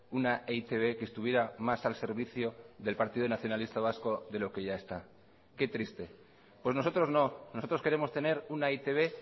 una e i te be que estuviera más al servicio del partido nacionalista vasco de lo que ya está qué triste pues nosotros no nosotros queremos tener una e i te be